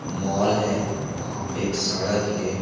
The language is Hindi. मॉल है वहाँ पे एक सड़क हैं।